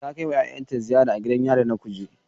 Ta kai wa yayanta ziyara a gidan yari na Kuje